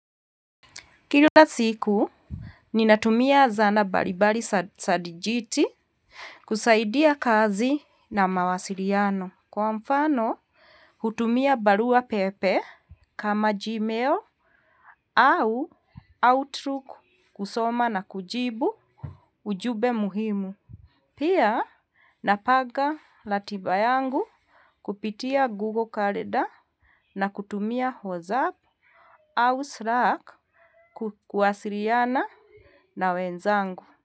Kila siku, ninatumia zana mbalimbali za dijiti kusaidia kazi na mawasiliano. Kwa mfano, hutumia barua pepe kama Gmail au outlook kusoma na kujibu ujumbe muhimu. Pia, napanga ratiba yangu kupitia Google Calendar na kutumia WhatsApp au Slack kuwasiliana. Na wenzangu.